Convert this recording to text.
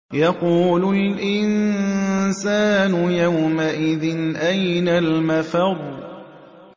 يَقُولُ الْإِنسَانُ يَوْمَئِذٍ أَيْنَ الْمَفَرُّ